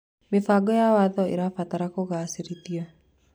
Mĩbango ya watho ĩrabatara kũgacĩrithio.